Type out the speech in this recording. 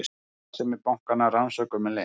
Starfsemi bankanna rannsökuð með leynd